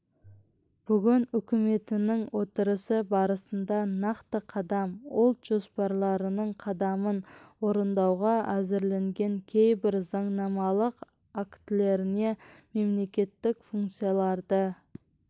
бүгін үкіметінің отырысы барысында нақты қадам ұлт жоспарының қадамын орындауға әзірленген кейбір заңнамалық актілеріне мемлекеттік функцияларды